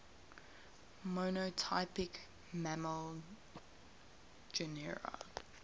monotypic mammal genera